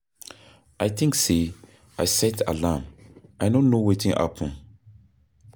I think say I set alarm, I no know wetin happen?